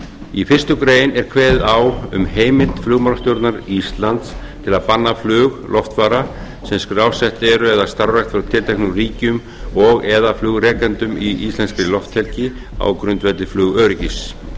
í fyrstu grein er kveðið á um heimild flugmálastjórnar íslands til að banna flug loftfara sem skrásett eru eða starfrækt frá tilteknum ríkjum og eða flugrekendum í íslenskrilofthelgi á grundvelli flugöryggis